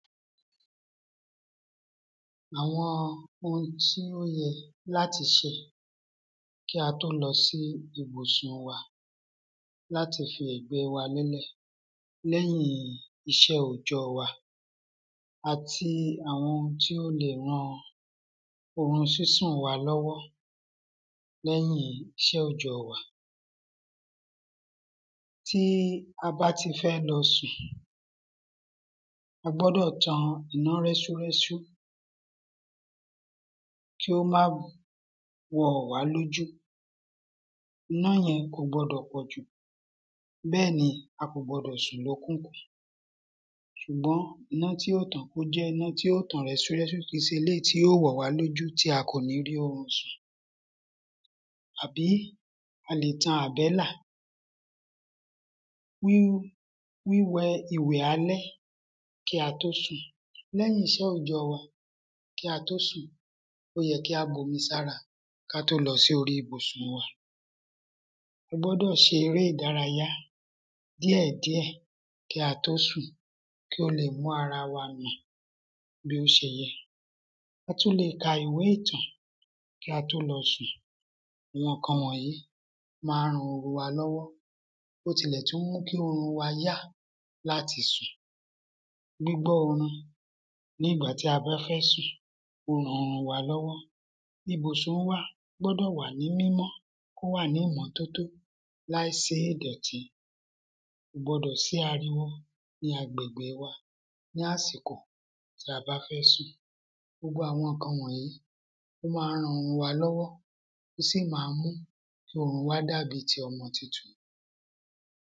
Àwọn oun tí ó yẹ láti se kí a tó lọsí ìbusùn wa, láti fi ẹ̀gbẹ́ wa lé lẹ̀ lẹ́yìn iṣẹ́ oòjọ́ wa, àti àwọn oun tí ó lè ran orun sísùn wa lọ́wọ́, lẹyìn iṣẹ́ oòjọ́ wa. Tí a bá ti fẹ́ lọ sùn, a gbọ́dọ̀ tan iná rẹ́súrẹ́sú, kí ó má wọ̀ wá lójú, iná yẹn kò gbọdọ̀ pọ̀jù bẹ́ẹ̀ni a kò sì gbọdọ̀, ṣùgbọ́n iná tí yóò tàn, kó jẹ́ iná tí ó tàn rẹ́súrẹ́sú, kìí se eléyìí tí ó wọ̀ wá lójú, tí a kò ní rí orun sùn, àbí a lè tan àbẹ́là. Wìwẹ ìwẹ̀ alẹ́ kí a tó sùn, lẹ́yìn iṣẹ́ ọ̀jọ́ wa, kí a tó sùn, ó yẹ kí á bomi sára, ka tó lọ sórí ìbọusùn wa, a gbọ́dọ̀ se eré ìdárayá díẹ̀díẹ̀ kí a tó sùn, kí ó lè mú ara wa nà, bí ó se yẹ, atún lè ka ìwé ìtàn kí a tó lọ sùn, gbogbo ǹkan wọ̀nyí, ma ń ran orun wa lọ́wọ́, ó tún lè tún mú orun wa yá láti sùn, gbígbọ́ orin nígbà tí a bá fẹ́ sùn, ó ran orun wa lọ́wọ́. Ibọ̀sùn wa gbọdọ̀ wà ní mímọ́, kó wà ní ìmọ́tótó láì sí ìdọ̀tí, kò gbọdọ̀ sí ariwo ní agbègbè wa, ní àsìkò tí a bá fẹ́ sùn, gbogbo àwọn ǹkan wọ̀nyí, ó ma ń ran orun wa lọ́wọ́, ó sì ma ń mú kí orun wa dàbí ti ọmọ tuntun